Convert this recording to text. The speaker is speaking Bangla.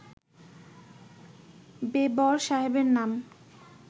বেবর সাহেবের নাম